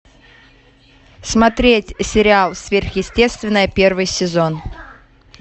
смотреть сериал сверхъестественное первый сезон